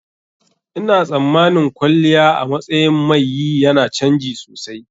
Ina tsammanin kwalliya a matsayin mai yi yana canji sosai.